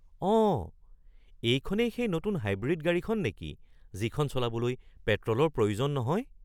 অঁ! এইখনেই সেই নতুন হাইব্ৰিড গাড়ীখন নেকি যিখন চলাবলৈ পেট্ৰলৰ প্ৰয়োজন নহয়?